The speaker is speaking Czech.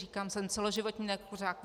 Říkám, jsem celoživotní nekuřák.